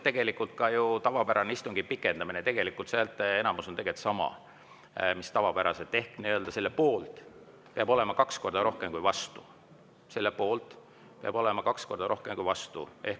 Tegelikult on see häälteenamus sama mis tavapäraselt, ehk selle poolt peab olema kaks korda rohkem kui vastu.